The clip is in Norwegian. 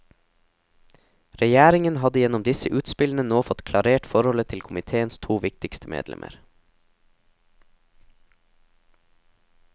Regjeringen hadde gjennom disse utspillene nå fått klarert forholdet til komiteens to viktigste medlemmer.